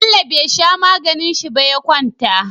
Bello be sha maganin shi ba ya kwanta